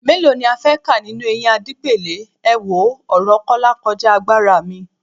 Mélòó ni a fẹ́ kà nínú eyín Adípèlé, èwo, ọ̀rọ̀ Kọ́lá kọjá agbára mi